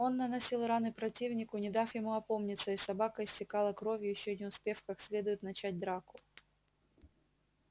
он наносил раны противнику не дав ему опомниться и собака истекала кровью ещё не успев как следует начать драку